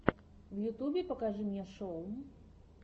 в ютубе покажи мне шоу